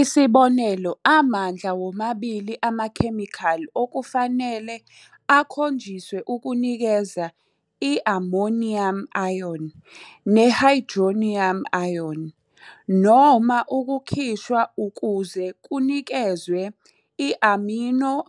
Isibonelo, amandla womabili amakhemikhali okufanele akhonjiswe ukunikeza i-NH4 plus ne-H3O plus noma ukukhishwa ukuze kunikezwe i-NH2-